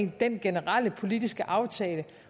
den generelle politiske aftale